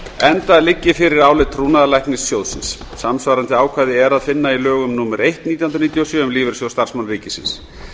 enda liggi fyrir álit trúnaðarlæknis sjóðsins samsvarandi ákvæði er að finna í lögum númer eitt nítján hundruð níutíu og sjö um lífeyrissjóð starfsmanna ríkisins